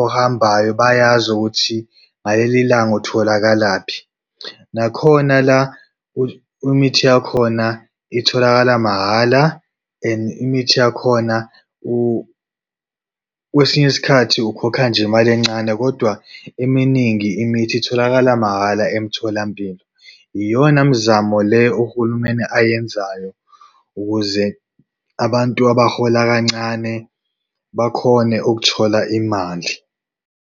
ohambayo bayazi ukuthi ngaleli ilanga utholakalaphi. Nakhona la imithi yakhona itholakala mahhala and imithi yakhona kwesinye isikhathi ukhokha nje mali encane kodwa eminingi imithi itholakala mahhala emtholampilo. Iyona mzamo le uhulumeni ayenzayo ukuze abantu abahola kancane bakhone ukuthola imali.